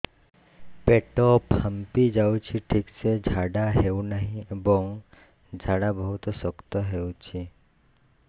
ପେଟ ଫାମ୍ପି ଯାଉଛି ଠିକ ସେ ଝାଡା ହେଉନାହିଁ ଏବଂ ଝାଡା ବହୁତ ଶକ୍ତ ହେଉଛି